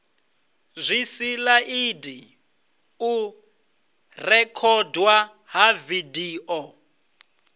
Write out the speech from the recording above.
zwisilaidi u rekhodwa ha vidio